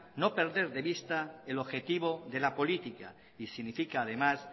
no perder de vista el objetivo de la política y significa además